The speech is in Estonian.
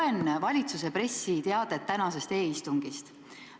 Loen valitsuse pressiteadet tänasest e-istungist.